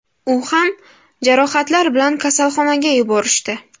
U ham jarohatlar bilan kasalxonaga yuborishdi.